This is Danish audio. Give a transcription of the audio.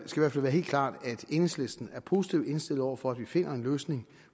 være helt klart at enhedslisten er positivt indstillet over for at vi finder en løsning